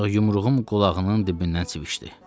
Ancaq yumruğum qulağının dibindən civişdi.